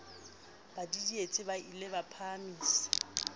ba didietse ba ie phahamise